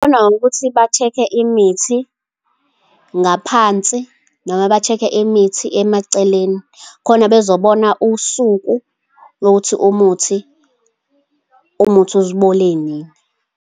Bangabona ngokuthi ba-check-e imithi ngaphansi, noma ba-check-e imithi emaceleni, khona bezobona usuku lokuthi umuthi ubole nini.